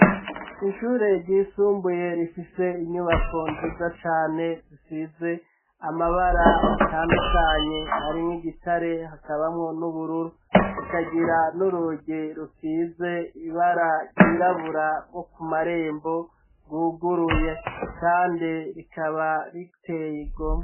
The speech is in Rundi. Inshure ryisumbuye rifise inyubako nziza cane zisize amabara atandukanye harimwo igitare hakabamwo n'ubururu rikagira n'urugi rusize ibara ryirabura bwo ku marembo guguruye, kandi rikaba rite ey igome.